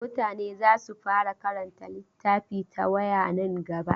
Mutane za su fara karanta littafi ta waya nan gaba.